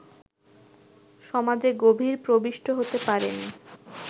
সমাজে গভীরে প্রবিষ্ট হতে পারেনি